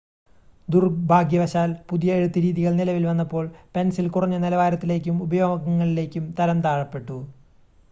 ദുർഭാഗ്യവശാൽ പുതിയ എഴുത്ത് രീതികൾ നിലവിൽ വന്നപ്പോൾ പെൻസിൽ കുറഞ്ഞ നിലവാരത്തിലേക്കും ഉപയോഗങ്ങളിലേക്കും തരംതാഴ്ത്തപ്പെട്ടു